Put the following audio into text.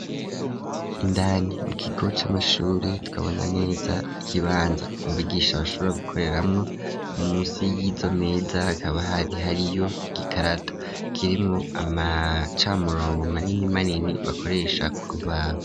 Indani mu kigo c'amashure tukabona neza k'ibanza umbugisha bashobora gukoreramwo munsi y'izo meza akaba hari hari yo igikarato kirimwo amacamurongo manini manini bakoresha kurubabo.